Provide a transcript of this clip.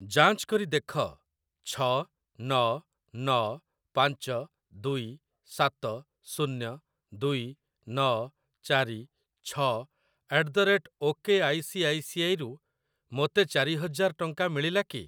ଯାଞ୍ଚ କରି ଦେଖ ଛଅ ନଅ ନଅ ପାଞ୍ଚ ଦୁଇ ସାତ ଶୂନ୍ୟ ଦୁଇ ନଅ ଚାରି ଛଅ at the rate O K I C I C I ରୁ ମୋତେ ଚାରି ହଜାର ଟଙ୍କା ମିଳିଲା କି?